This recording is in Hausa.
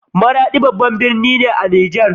Maradi babban gari ne a ƙasar Niger